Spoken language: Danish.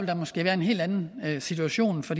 der måske være en helt anden situation for